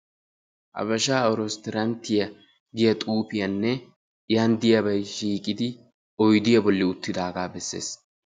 Abashaa resttoranttiya giya xuufiyanne yan diyabay shiiqidi oydiya bollan uttidaagaa bessees.